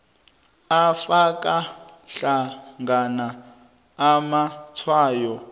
afaka hlangana amatshwayo